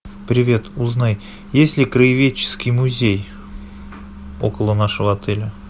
привет узнай есть ли краеведческий музей около нашего отеля